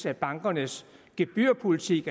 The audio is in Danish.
at bankernes gebyrpolitik